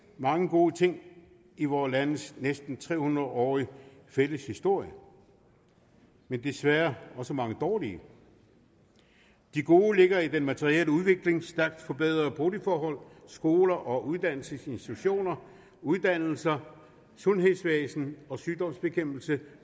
mange gode ting i vore landes næsten tre hundrede årige fælles historie men desværre også mange dårlige de gode ligger i den materielle udvikling de stærkt forbedrede boligforhold skoler og uddannelsesinstitutioner uddannelse sundhedsvæsen og sygdomsbekæmpelse